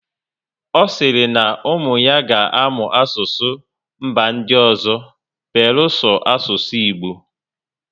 Ọ sịrị na ụmụ ya ga amụ asụsụ mba ndị ọzọ beluso asụsụ Igbo